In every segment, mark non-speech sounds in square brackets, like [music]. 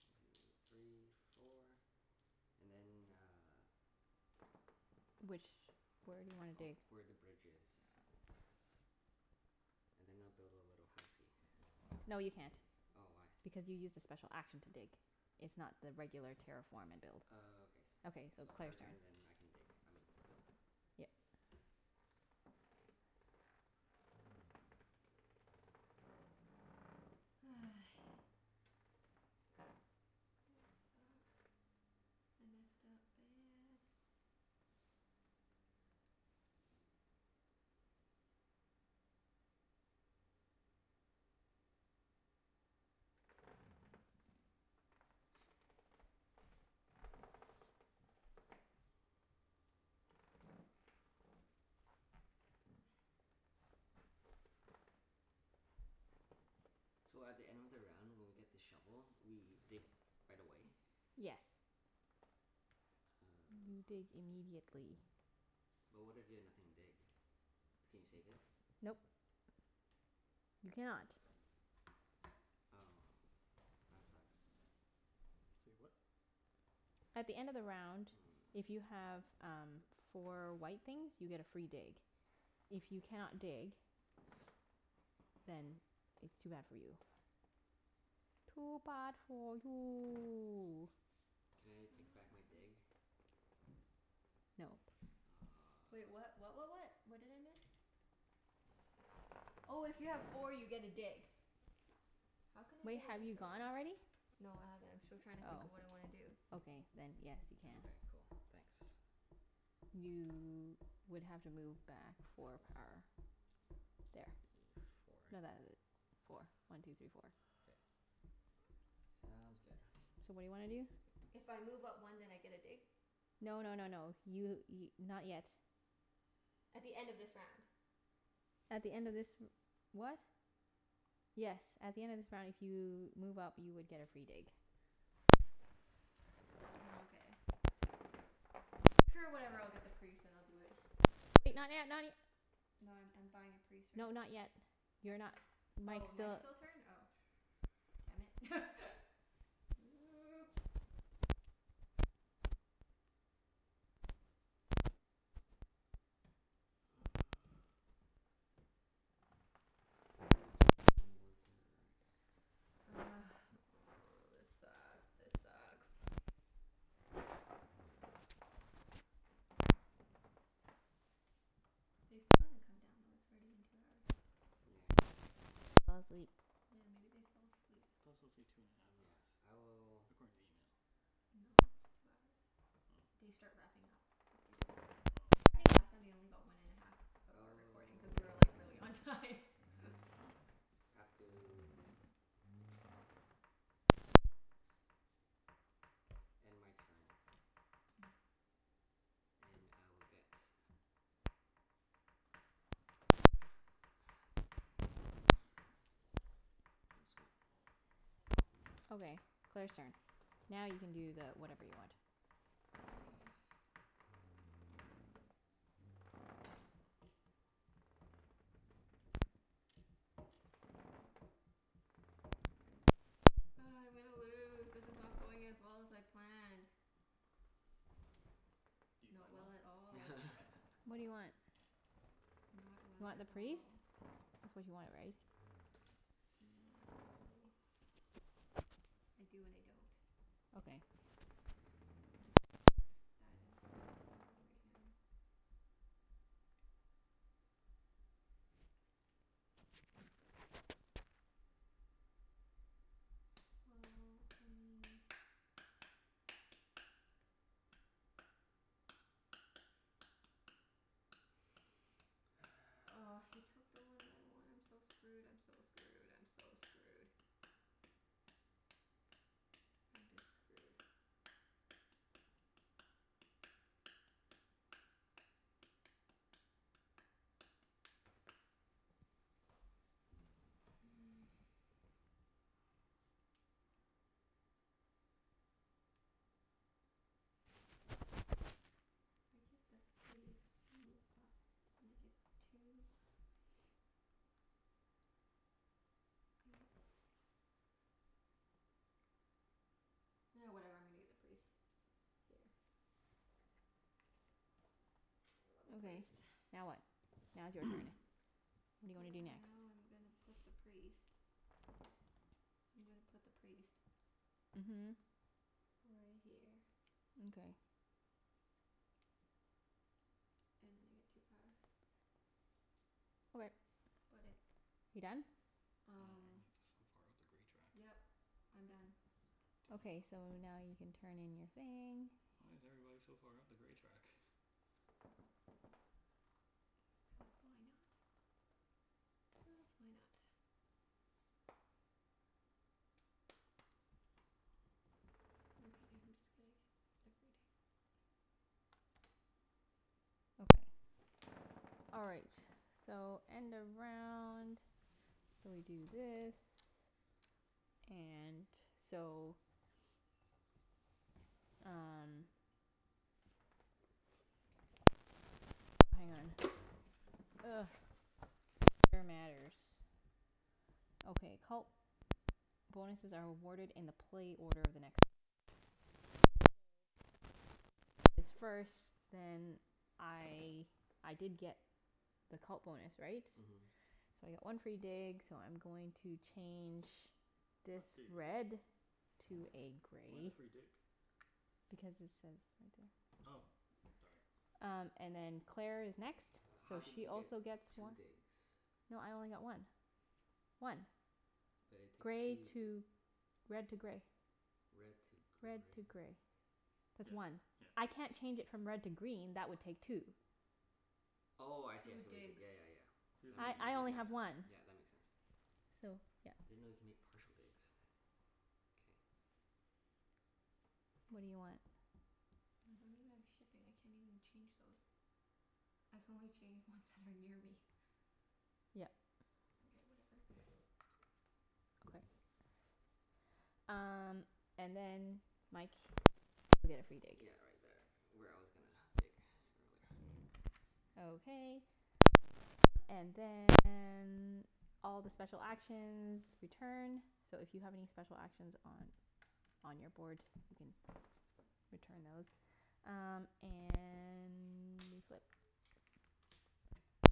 One two three four. And then uh Which, where do you wanna Ov- dig? where the bridge is. And then I'll build a little housey. No, you can't, Oh, why? because you used a special action to dig. It's not the regular terraform and build. Oh, okay s- Okay, so so her Claire's turn turn. and then I can dig. I mean build. Yep. [noise] This sucks. I messed up bad. So at the end of the round when we get the shovel, we dig right away? [noise] Yes, you dig Oh. immediately. But what if you have nothing to dig? Can you save it? Nope. You cannot. Oh, that sucks. Say what? At the end of the round, if you Mm. have um four white things you get a free dig. If you cannot dig then it's too bad for you. Too bad for you. Can I take back my dig? [inaudible] No. Wait, Oh. what what what what? What did I miss? Oh, if you have four you get a dig. How can I Wait, get an have you extra one? gone already? No, I haven't. I'm still trying to think of what I wanna do. Oh, okay, then yes, you Oh, can. okay. Cool. Thanks. You would have to move back four Four. power. There. Y- four. No, th- four. One two three four. K. [noise] Sounds good. So what do you wanna do? If I move up one then I get a dig? No no no no. You y- not yet. At the end of this round. At the end of this r- what? Yes, at the end of this round if you move up you would get a free dig. Nokay. Sure, whatever. I'll get the priest and I'll do it. [noise] Wait, not yet, not y- No, I'm I'm buying a priest right No, not now. yet. You're not, Mike's Oh, Mike's still still turn? Oh. Damn it. [laughs] [noise] Oops. Uh Three power one worker. Ugh, [noise] this sucks. This sucks. [noise] They still haven't come down, though. It's already been two hours. Yeah. Maybe they fell asleep? Yeah, maybe they fell asleep. It could also take two and a half hours, Yeah. I will according to the email. No, it's two hours. Oh. They start wrapping up after two hours. Oh. I think last time they only got one and a half of our recording cuz we were like really on Oh. time. [laughs] Oh. Have to [noise] End my turn. [noise] And I will get [noise] Thanks. [noise] This one. Okay, Claire's turn. Now you can do the whatever you want. [noise] Ugh, I'm gonna lose. This is not going as well as I planned. Do you Not plan well? well at all. [laughs] What do you want? Not You well want at the priest? all. That's what you wanted, right? Not really. I do and I don't. Okay. It's not like s- that important that I do it right now. Well, I mean Oh, he [noise] took the one that I wanted. I'm so screwed, I'm so screwed, I'm so screwed. I'm just screwed. [noise] If I get the priest and move up, then I get two I Ah, whatever, I'm gonna get the priest. Here. [noise] A little Okay, priest. now what? Now it's your turn. [noise] [noise] What do you wanna do Yeah, next? now I'm gonna put the priest I'm gonna put the priest Mhm. right here. Mkay. And then I get two power. Okay. That's about it. You done? Wow, Um everyone is so far up the gray track. Yep, I'm done. Damn. Okay, so now you can turn in your thing. Why is everybody so far up the gray track? [laughs] Cuz why not? Cuz why not? Mkay, I'm just gonna get every dig. Okay. All right, so end of round. So we do this, and so Um What is it? So hang on. Ugh. Order matters. Okay, cult bonuses are awarded in the play order of the next round. Okay. So since Jeff is first then I, I did get the cult bonus, right? Mhm. So I get one free dig so I'm going to change Not this dig, red. To is it? a Why the gray. free dig? Because it says right there. Oh, sorry. Um and then Claire is next, Uh how so did she you get also gets two one. digs? No, I only got one. One. But it takes Gray two to, red to gray. Red to Red gray. to gray. That's Yeah one. yeah. I can't change it from red to green. That would [noise] take two. Oh, I see I Two see what you did. digs. Yeah yeah yeah. She That doesn't makes I sense. I only Yeah, have one. [inaudible] yeah, that makes sense. So, yeah. I didn't know you could make partial digs. K. What do you want? I don't even have shipping. I can't even change those. I can only change ones that are near me. Yep. Mkay, whatever. [noise] Okay. Um and then Mike you get also get a free dig. Yeah, right there where I was gonna [noise] dig [noise] earlier. [noise] Okay. Um and then all the special actions return. So if you have any special actions on on your board, you can return those. Um and we flip.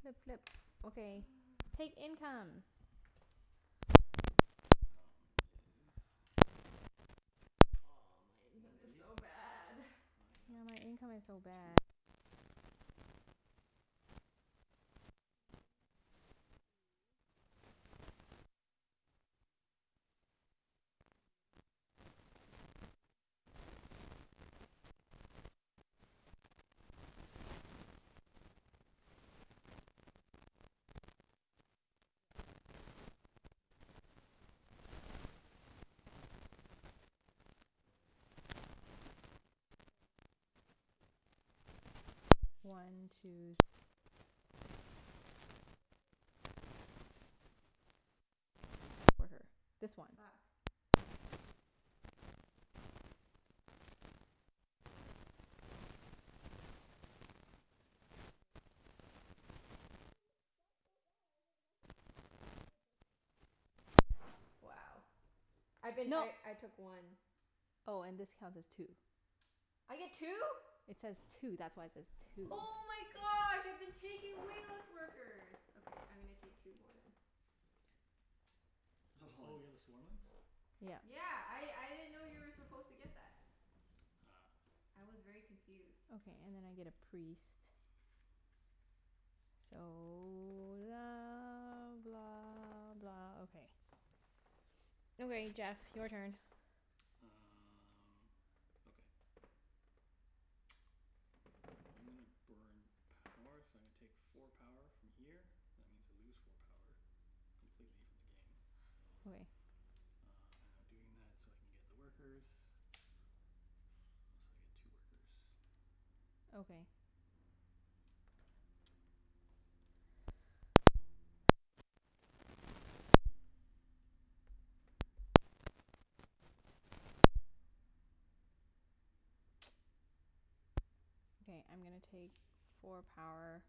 Flip, flip. Okay, take [noise] income. [noise] Income is Oh, my income One is priests. so bad. [noise] And I got Yeah, my income is so two bad. workers for It's that. like very, it's like worse One than two. Um bad. I get three coins, one two three, from that. I Three. get Oh, at least I one get a little power. priest. Yay. Frick, Um I keep [noise] I get taking the wrong six things. coins. I I know. It's know, pretty hard. it's [noise] pretty hard. One two three four. Yep. At least you have more than one worker. Wait. I get Hang one more on. power. I had And I get one more this, worker. so one two, one two K, three wait. Does the first image count as a worker or not? Cuz I haven't been taking that. This counts as a worker. This one. Fuck. I haven't been taking that. Take, I dunno, take two then. [noise] Oh, frick. It's okay. Can I take one from last turn? Sure. Yeah. [noise] Wow, that's why this sucked so bad. I was like, how come I have no workers? [noise] Wow. I've been, No. I I took one. Oh, and this counts as two. I get two? It says two. That's why it says two. Oh my gosh, I've been taking way less workers. Okay, I'm gonna take two more then. Oh you got [laughs] the swarmlings? Yeah. Yeah. I Ah. I didn't know you were supposed to get that. Ah. I was very confused. Okay, and then I get a priest. So la blah blah, okay. Okay Jeff, your turn. Uh okay. I'm gonna burn power, so I'm gonna take four power from here. That means I lose four power completely from the game. Okay. [noise] Uh and I'm doing that so I can get the workers. Oh, so I get two workers. Okay. [noise] Okay, I'm gonna take four power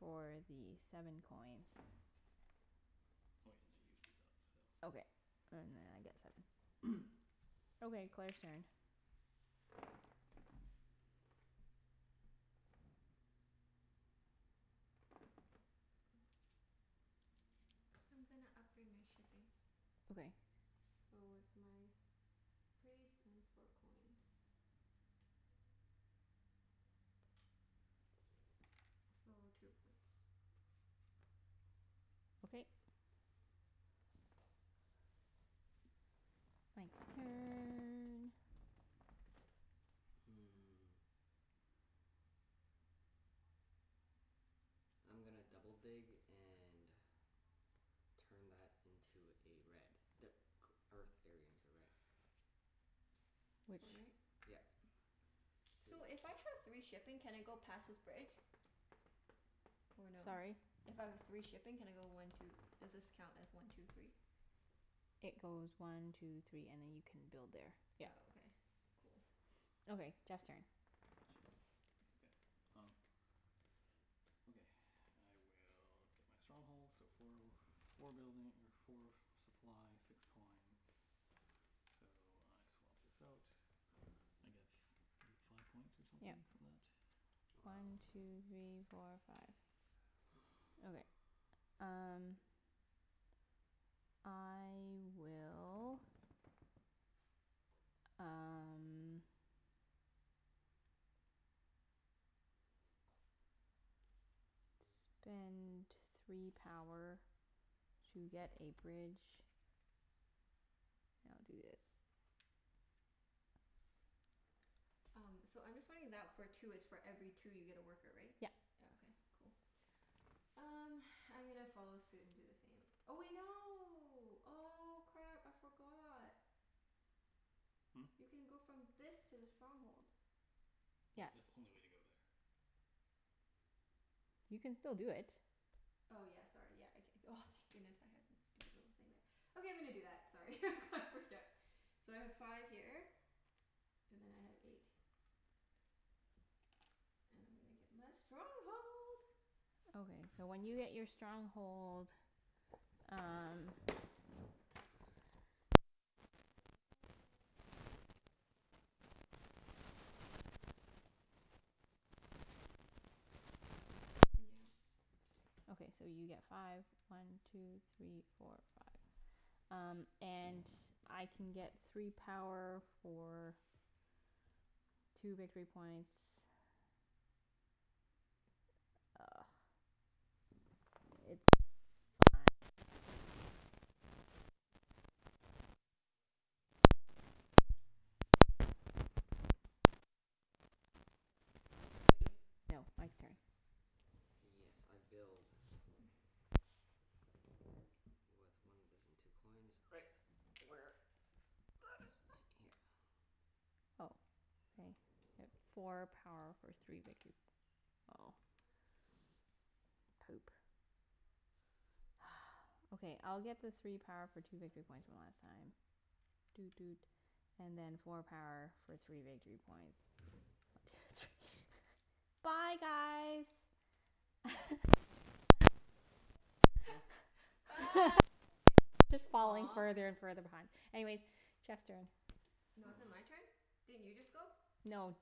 for the seven coins. Oh yeah, and I Okay. [inaudible] And then I get seven. [noise] [noise] Okay, Claire's turn. [noise] I'm gonna upgrade my shipping. Okay. So it's my priest and four coins. So, two points. Okay. Mike's turn. Hmm. I'm gonna double dig and turn that into a red. The e- earth area into a red. [noise] This Which one, right? Yep. [noise] Two. So, if I have three shipping can I go past this bridge? Or no? Sorry? If I have three shipping can I go one two, does this count as one two three? It goes one two three and then you can build there, Oh, yep. okay. Cool. Okay, Jeff's turn. Okay, um Okay. [noise] I will get my stronghold, so four w- four building or four supply, six coins. So I swap this out. I get f- I get five points or Yep. something for that? Wow. One two three four five. Okay, [noise] [noise] um I will um spend three power to get a bridge. And I'll do this. Um, so I'm just wondering that for two, it's for every two you get a worker, right? Yep. Oh, okay. Cool. Um, [noise] I'm gonna follow suit and do the same. Oh wait, no. Oh, crap. I forgot. Hmm? You can go from this to the stronghold. Oh, Yep. that's the only way to go there. You can still do it. Oh yeah, sorry. Yeah. I c- c- oh, thank goodness, I had a stupid little thing there. Okay, I'm gonna do that. Sorry, I got freaked out. So I have five here and then I have eight. And I'm gonna get my stronghold. Okay, so when you get your stronghold um After building a stronghold, as a special action, she can upgrade a dwelling to a trading post for free. Yeah. Okay, so you get five. One two three four five. Um and I can get three power for two victory points. Ugh. It's fine. And then Mike can get two power for one Yep. victory point. Okay. [noise] [noise] Jeff's turn. Wait, no. Mike's turn. Yes, I build. [noise] With one [inaudible] [noise] and two coins. Right. Where That is right here. Oh, okay. Four power for three victor- oh Poop. [noise] Okay, I'll get the three power for two victory points one last time. Doot doot. And then four power for three victory points. Two three [laughs] Bye guys. Huh? [laughs] Bye. What? Just falling Aw. further and further behind. Anyways, Jeff's turn. I No, is it dunno. my turn? Didn't you just go? No,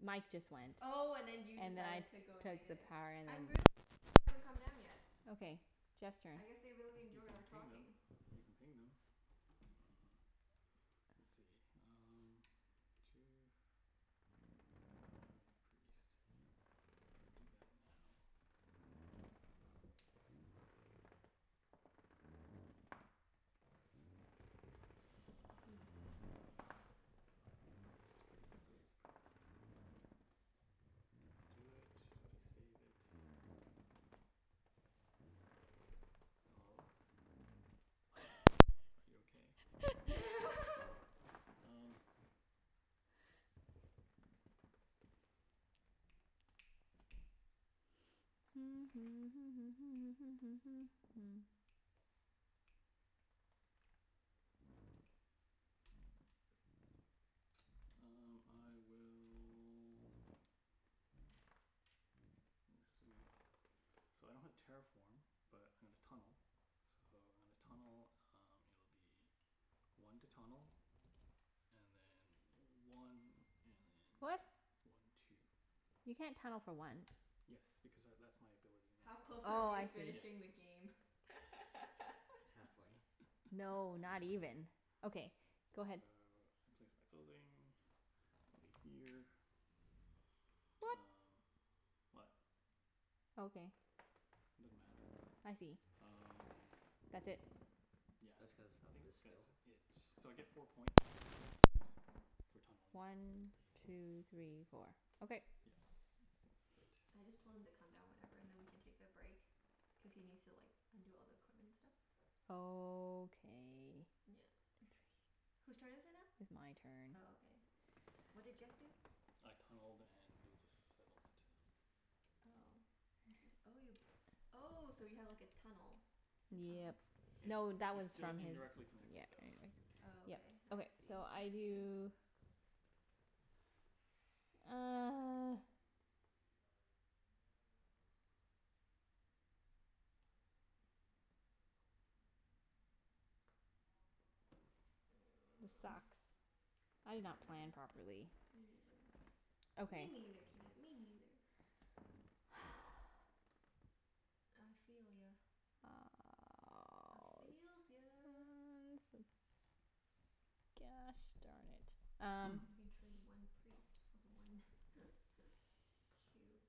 Mike just went. Oh, and then you And then decided I to go took the negative. power I'm really surprised they haven't come down yet. Okay. Jeff's turn. I guess they really You enjoy can our ping them. talking. You can ping them. Uh let's see, um Two [inaudible] priest. If I do that now [noise] Priest priest priest priest. Do I do it? Do I save it? Hello? Are you okay? [laughs] [laughs] Um [noise] Um I will That's sweet. So I don't have terraform but I'm gonna tunnel. So when I tunnel um it'll be one to tunnel, and then one and then What? one two. You can't tunnel for one. Yes, because tha- that's my ability How close now. are Oh, we to I see. Yeah. finishing the game? [laughs] Halfway. No, [laughs] not even. Okay, So, go ahead. I place my building over here. What? Um what? Okay. It doesn't matter. I see. Um That's it. Yeah, That's cuz I of think this skill? that's it. So I get four points for doing that. For tunneling. One two three four. Okay. Yeah, I think that's I just it. told him to come down whenever and then we can take a break. Cuz he needs to like undo all the equipment and stuff. Okay. Yeah. [noise] Whose turn is it now? It's my turn. Oh, okay. What did Jeff do? I tunneled and built a settlement. Oh, inter- oh you, oh so you have like a tunnel, a tunnel? Yep. It No, that it's was still from his, Interesting. indirectly connected yeah, though. anyway. Oh, Yep. okay. I Okay, see. so I Interesting. do [noise] [noise] This sucks. I Yeah, did not plan this sucks. properly. Me neither. Me Okay. neither, Junette, me neither. [noise] I feel ya. I feels ya. [noise] Sucks. Gosh darn it. Um You [noise] can trade one priest for one [laughs] cube.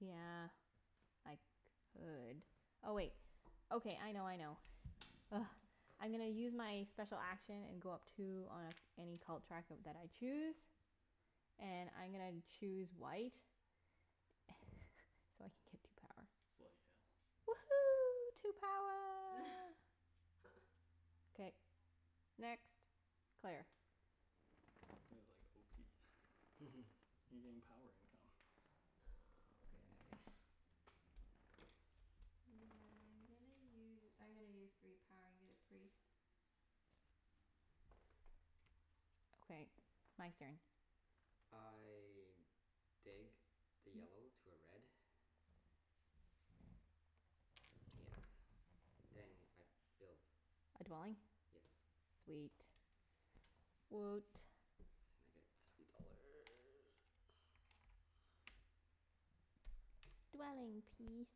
Yeah, I could. Oh, wait. Okay, I know, I know. Ugh. I'm gonna use my special action and go up two on any cult track of that I choose. And I'm gonna choose white. [laughs] So I can get two power. Bloody hell. Woohoo, two power. [laughs] K. Next. Claire. Sounded like [laughs] [inaudible] You getting power income. Oh, okay. [noise] Yeah, I'm gonna u- I'm gonna use three power and get a priest. Okay. Mike's turn. I dig the yellow [noise] to a red. Yeah. And I build. A dwelling? Yes. Sweet. Woot. And I get three dollar. [noise] Dwelling peas.